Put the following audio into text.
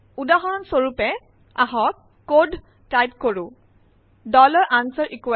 উদাহৰণৰ কাৰনে আহক কোড টাইপ কৰক